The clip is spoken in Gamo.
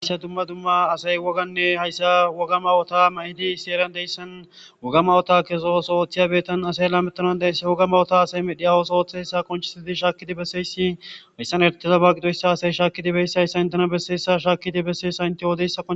haasa dumma dumma asay woganne hayssa wogama wota ma hidi sieran deyssan wogamawota kesosooththiyabetan asay la metanan deyssa woga mawota asay medhiyawos ooththeyssa konchisidi shaakkidi besseyssi hayssan ertezaba gidoyssa asay shaakidibeyssayssa intena besseyssa shaakidi besseysa inte yoodeyssa